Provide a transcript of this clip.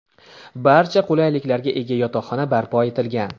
Barcha qulayliklarga ega yotoqxona barpo etilgan.